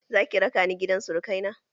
Zaki raka ni gidan surukai na?